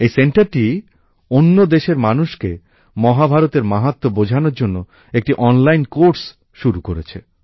এই সেন্টারটি অন্য দেশের মানুষকে মহাভারতের মাহাত্ব্য বোঝানোর জন্য একটি অনলাইন কোর্স শুরু করেছে